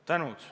Tänan!